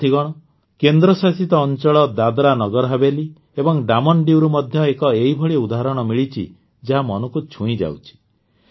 ସାଥୀଗଣ କେନ୍ଦ୍ରଶାସିତ ଅଂଚଳ ଦାଦ୍ରାନଗରହାବେଲି ଏବଂ ଡାମନ୍ ଡିଉରୁ ମଧ୍ୟ ଏକ ଏହିଭଳି ଉଦାହରଣ ମିଳିଛି ଯାହା ମନକୁ ଛୁଇଁଯାଉଛି